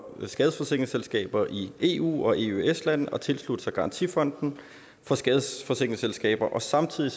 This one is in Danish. skadesforsikringsselskaber i eu og eøs lande at tilslutte sig garantifonden for skadesforsikringsselskaber og samtidig